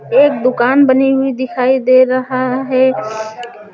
एक दुकान बनी हुई दिखाई दे रहा है।